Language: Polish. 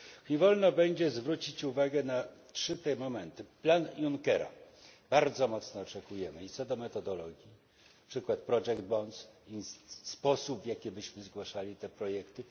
Niech wolno mi będzie zwrócić uwagę na trzy te momenty plan Junckera. Bardzo mocno oczekujemy i co do metodologii przykład project bonds i sposób, w jaki byśmy zgłaszali te projekty.